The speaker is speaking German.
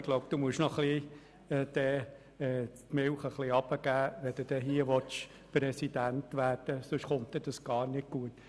Ich glaube, Sie sollten etwas weniger hochkochen, wenn Sie hier Präsident werden wollen, sonst kommt das gar nicht gut.